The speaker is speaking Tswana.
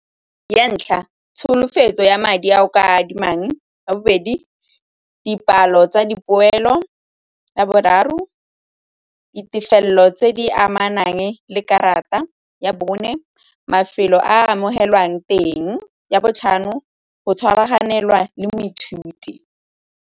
Ya ntlha, tsholofetso ya madi a o ka adimang. Ya bobedi, dipalo tsa dipoelo. Ya boraro, ditefelelo tse di amanang le karata. Ya bone, mafelo a amogelwang teng. Ya botlhano, go tshwaraganelwa le moithuti.